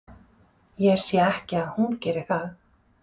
Ég sé ekki að hún geri það.